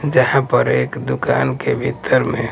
जहाँ पर एक दुकान के भीतर में।